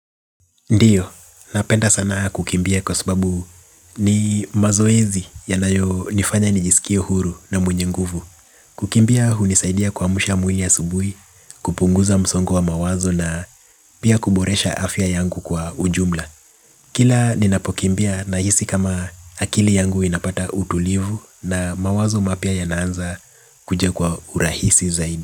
Ndiyo, napenda sana kukimbia kwa sababu ni mazoezi yanayo nifanya nijisikie huru na mwenye nguvu. Kukimbia hunisaidia kuamsha mwili asubuhi, kupunguza msongo mawazo na pia kuboresha afya yangu kwa ujumla. Kila ninapokimbia nahisi kama akili yangu inapata utulivu na mawazo mapya yanaanza kuja kwa urahisi zaidi.